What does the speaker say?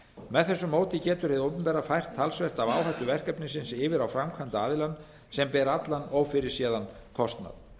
með þessu móti getur hið opinbera fært talsvert af áhættu verkefnisins yfir á framkvæmdaraðilann sem ber allan ófyrirséðan kostnað